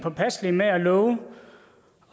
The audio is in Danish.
påpasselige med at love